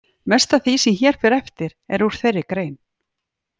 Mest af því sem hér fer eftir er úr þeirri grein.